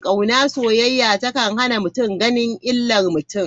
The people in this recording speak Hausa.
Kauna/soyayya ta kan hana mutum ganin illar mutum.